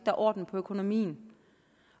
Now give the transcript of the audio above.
er orden i økonomien